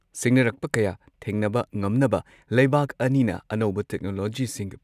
ꯁꯤꯡꯅꯔꯛꯄ ꯀꯌꯥ ꯊꯦꯡꯅꯕ ꯉꯝꯅꯕ ꯂꯩꯕꯥꯛ ꯑꯅꯤꯅ ꯑꯅꯧꯕ ꯇꯦꯛꯅꯣꯂꯣꯖꯤꯁꯤꯡ